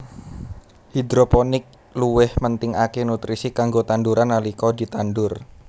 Hidroponik luwih mentingaké nutrisi kanggo tanduran nalika ditandur